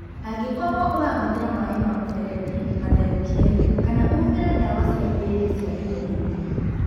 Angĩkorũo ũrahũthĩra maĩ ma mũberethi, matherũkie kana ũhũthĩre ndawa cia mbĩndĩ cia iodini.